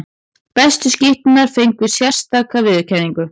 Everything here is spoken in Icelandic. Bestu skytturnar fengu sérstaka viðurkenningu.